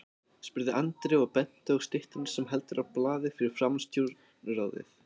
spurði Andri og benti á styttuna sem heldur á blaði fyrir framan Stjórnarráðið.